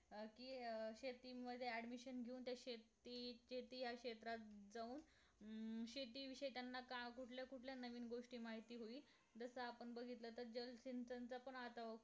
अं कि अं शेतीमध्ये admission घेऊन त्या शेतीचे या क्षेत्रात जाऊन अं शेती विशेष त्यांना काम कुठल्या कुठंल्या नवीन गोष्टी माहिती होईल जस आपण बघितलं तर जलसिंचा